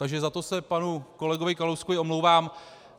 Takže za to se panu kolegovi Kalouskovi omlouvám.